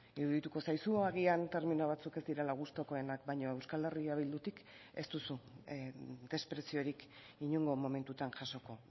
irudituko zaizu agian termino batzuk ez direla gustukoenak baina euskal herria bildutik ez duzu despreziorik inongo momentutan jasoko